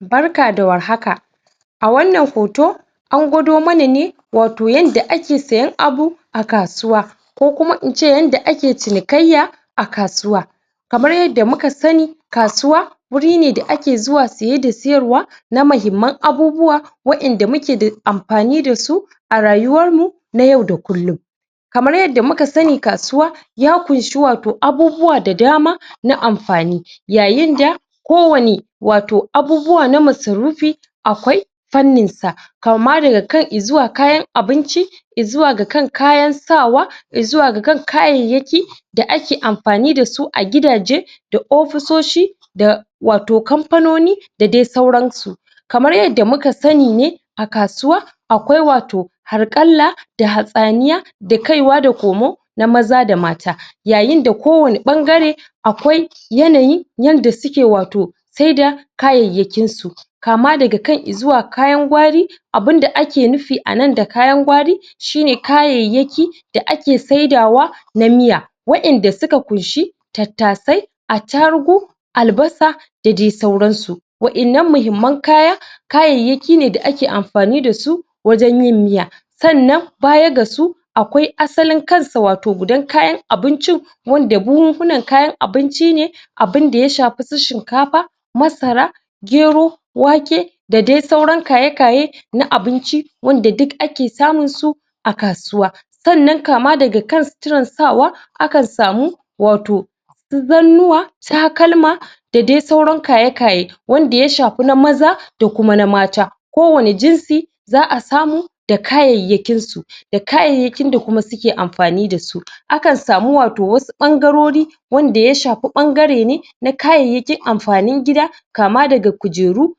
Barka da war haka! A wannan hoto, an gwado mana ne, watau, yadda ake sayen abu a kasuwa ko kuma na ce yadda ake cinikayya a kasuwa. Kamar yadda muka sani, kasuwa wuri ne da ake zuwa saye da sayarwa na muhimman abubuawa waɗanda muke da amfani da su a rayuwarmu na yau da kullum. Kamar yadda muka sani, kasuwa ya ƙunshi, watau, abubuwa da dama na amfani yayin da kowane abu, watau, abubuwa na masarufi akwai fanninsa, kama daga kan i zuwa kayan abinci i zuwa ga kan kayan sawa, i zuwa ga kan kayayyaki da ake amfani da su a gidaje da ofisoshi da, watau, kamfanoni da dai sauransu. Kamar yadda muka sani, a kasuwa, akwai, watau, harƙalla hatsaniya da kaiwa da komo na maza da mata yayin da kowane ɓangare Akwai yanayi yanda, watau, suke sayar da kayayyakinsu kama daga kan i zuwa kayan gwari. Abin da ake nufi a nan da kayan gwari shi ne kayayyaki da ake saidawa na miya waɗanda suka ƙunshi tattasai, attarugu, albasa da dai sauransu. Waɗannan muhimman kaya, kayayyaki ne da ake amfani da su wajen yin miya. Sannan, baya ga su akwai asalin kansa, watau, gudan kayan abincin wanda buhunan kayan abinci ne, abin da ya shafi su shinkafa, masara, gero, wake, da dai sauran kaye-kaye na abinci wanda duk ake samunsu kasuwa. Sanann, kama daga kan suturar sawa, akan samu, watau, zannuwa, takalma, da dai sauran kaye-kaye, wanda dai ya shafi na maza da kuma na mata za a samu da kayayyakinsu da kayayyakin da kuma suke amfani da su. Akan samu, watau, wasu ɓangarori wanda ya shafi ɓangare ne na kayayyakin amfanin gida, kama daga kujeru,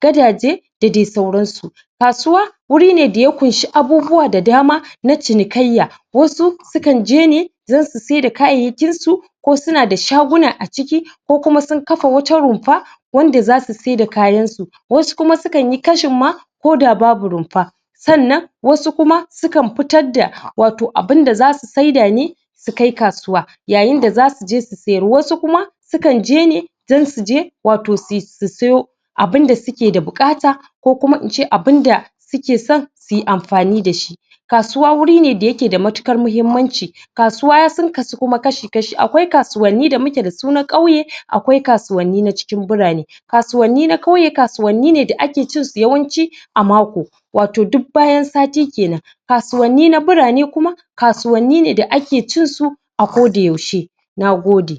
gadaje da dai sauransu. Kasuwa wuri ne da ya ƙunshi abubuwa da dama na cinikayya wasu sukan je ne don su sayar da kayayyakinsu ko suna da shaguna ciki ko kuma sun kafa wata rumfa wanda za su sayar da kayansu. Wasu kuma sukan yi kashin ma koda babu rumfa sannan wasu kuma sukan fitar da, watau abin da za su sai da ne su kai kasuwa yayin da za su je su sayar. Wasu kuma sukan je ne don su je, watau su sayo abin da suke da buƙata ko kuma na ce abin da suke son su yi amfani da shi. Kasuwa wuri ne da yake da matuƙar muhimmanci. Kasuwa sun kasu kuma kashi-kashi. Akwai kasuwanni da muke da su na ƙauye, akwai kasuwanni na cikin birane. Kasuwanni na ƙauye kasuwanni ne da ake cinsu yawanci a mako, watau duk bayan sati ke nan. Kasuwanni na birane kuma kasuwanni ne da ake cinsu a kodayaushe. Na gode.